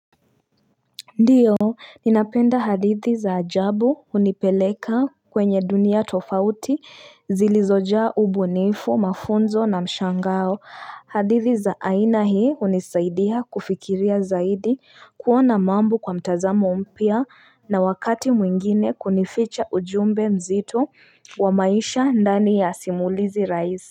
Ndiyo, ninapenda hadithi za ajabu unipeleka kwenye dunia tofauti zilizojaa ubunifu, mafunzo na mshangao. Hadithi za aina hii unisaidia kufikiria zaidi kuona mambo kwa mtazamo mpya na wakati mwingine kunificha ujumbe mzito wa maisha ndani ya simulizi raisi.